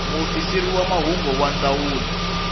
muofisiri wa mahungu wa ndzawulo